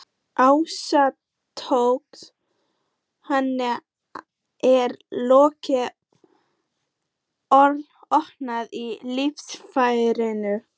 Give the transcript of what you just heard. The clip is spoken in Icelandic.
Ástrós, hvað er lengi opið í Listasafninu?